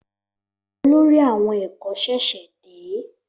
Olórí àwon èkó ṣèṣè dé